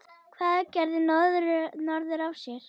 Hvað gerði norður af sér?